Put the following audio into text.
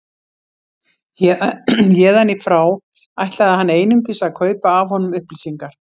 Héðan í frá ætlaði hann einungis að kaupa af honum upplýsingar.